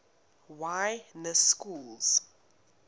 y na schools